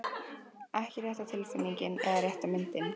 Ekki rétta tilfinningin eða rétta myndin.